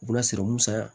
U bɛna siran mun sa